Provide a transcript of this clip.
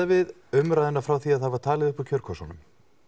við umræðuna frá því að það var talið uppúr kjörkössunum